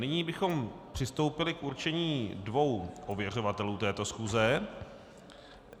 Nyní bychom přistoupili k určení dvou ověřovatelů této schůze.